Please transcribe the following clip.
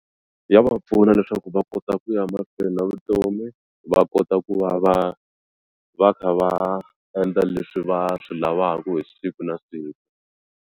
Ya va pfuna leswaku va kota ku ya mahlweni na vutomi va kota ku va va va kha va endla leswi va swi lavaku hi siku na siku.